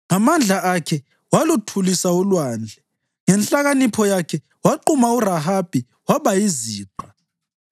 Ngamandla akhe waluthulisa ulwandle; ngenhlakanipho yakhe waquma uRahabi waba yiziqa.